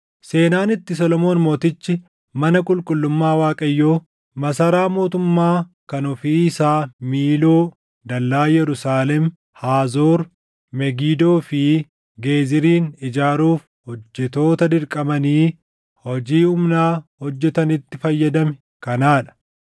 Seenaan itti Solomoon Mootichi mana qulqullummaa Waaqayyoo, masaraa mootummaa kan ofii isaa Miiloo, dallaa Yerusaalem, Haazoor, Megidoo fi Geezirin ijaaruuf hojjettoota dirqamanii hojii humnaa hojjetanitti fayyadame kanaa dha.